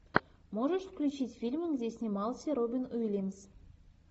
можешь включить фильмы где снимался робин уильямс